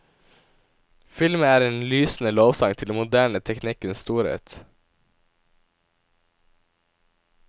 Filmen er en lysende lovsang til den moderne teknikkens storhet.